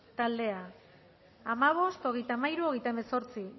taldea hamabost hogeita hamairu hogeita hemezortzi